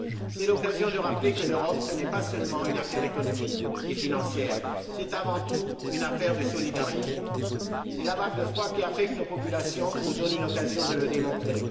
C'est l'occasion de rappeler que l'Europe, ce n'est pas seulement une affaire économique et financière, c'est avant tout une affaire de solidarité, et la vague de froid qui affecte nos populations nous donne une occasion de le démontrer.